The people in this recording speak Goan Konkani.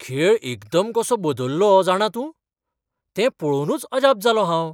खेळ एकदम कसो बदल्लो जाणा तूं? तें पळोवनूच अजाप जालों हांव.